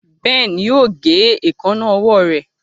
Ben yóò gé Èékánná ọwọ́ rẹ.